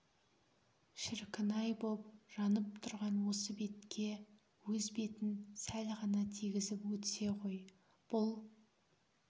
шіркін-ай боп жанып тұрған осы бетке өз бетін сәл ғана тигізіп өтсе ғой бұл